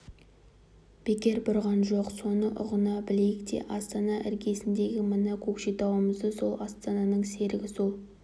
бекер бұрған жоқ соны ұғына білейік те астана іргесіндегі мына көкшетауымызды сол астананың серігі сол